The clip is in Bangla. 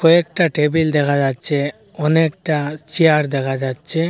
একটা টেবিল দেখা যাচ্ছে অনেকটা চেয়ার দেখা যাচ্ছে।